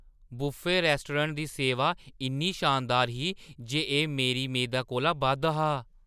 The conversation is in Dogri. बुफे रैस्टोरैंट दी सेवा इन्नी शानदार ही जे एह्‌ मेरी मेदें कोला बद्ध हा!